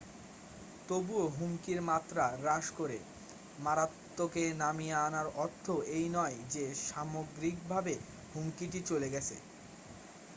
তবুও হুমকির মাত্রা হ্রাস করে মারাত্নকে নামিয়ে আনার অর্থ এই নয় যে সামগ্রিকভাবে হুমকিটি চলে গেছে